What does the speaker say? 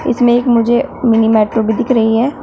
इसमें एक मुझे मिनी मेट्रो भी दिख रही है।